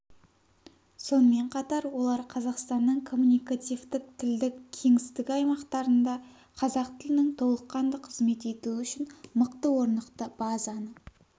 сонымен қатар олар қазақстанның коммуникативтік-тілдік кеңістігі аймақтарында қазақ тілінің толыққанды қызмет етуі үшін мықты орнықты базаны